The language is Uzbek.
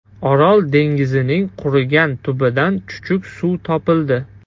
Orol dengizining qurigan tubidan chuchuk suv topildi .